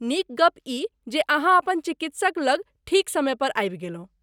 नीक गप्प ई जे अहाँ अपन चिकित्सक लग ठीक समयपर आबि गेलहुँ।